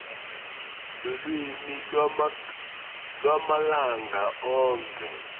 lulwimi lwamalanga onkhe